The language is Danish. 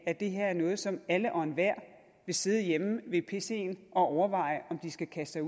at det her er noget som alle og enhver vil sidde hjemme ved pcen og overveje om de skal kaste